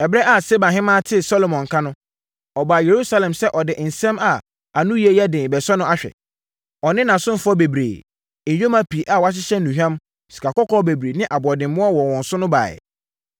Ɛberɛ a Seba Ɔhemmaa tee Salomo nka no, ɔbaa Yerusalem sɛ ɔde nsɛm a anoyie yɛ den rebɛsɔ no ahwɛ. Ɔne nʼasomfoɔ bebree, nyoma pii a wɔahyehyɛ nnuhwam, sikakɔkɔɔ bebree ne aboɔdemmoɔ wɔ wɔn so na ɛbaeɛ.